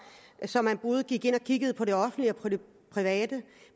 så man både gik ind og kiggede på det offentlige og på det private